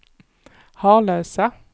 Harlösa